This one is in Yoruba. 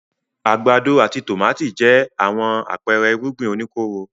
Àgbàdo àti tòmátì jẹ́ àwọn àpẹẹrẹ irúgbìn oníkóró.